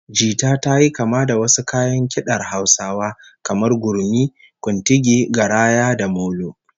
Jita tayi kama da wasu kayan kidar Hausawa kamar gurmi, kuntigi, garaya, da molo